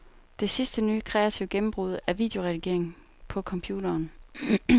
Det sidste nye kreative gennembrud er videoredigeringen på computeren.